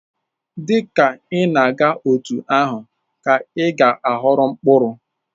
Dị ka ị na-agha, otú ahụ ka ị ga-aghọrọ mkpụrụ.